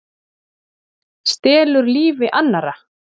Stelur lífi annarra?